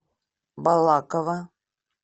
балаково